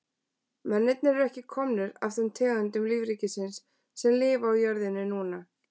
Mennirnir eru ekki komnir af þeim tegundum lífríkisins sem lifa á jörðinni núna.